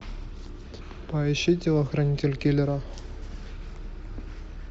поищи телохранитель киллера